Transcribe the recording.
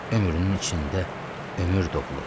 Ömrünün içində ömür doğulur.